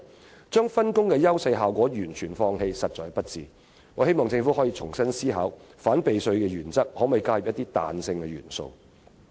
這種把分工的優勢效果完全放棄的做法實在不智，我希望政府可重新思考反避稅的原則，看看可否加入彈性元素。